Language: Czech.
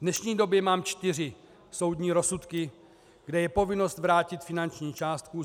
V dnešní době mám čtyři soudní rozsudky, kde je povinnost vrátit finanční částku.